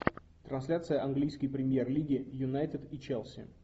трансляция английской премьер лиги юнайтед и челси